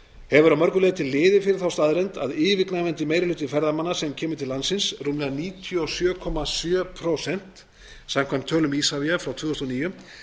hefur að mörgu leyti liðið fyrir þá staðreynd að yfirgnæfandi meiri hluti ferðamanna sem kemur til landsins rúmlega níutíu og sjö komma sjö prósent samkvæmt tölum isavia frá tvö